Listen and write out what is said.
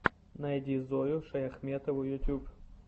найди зою шаяхметову ютьюб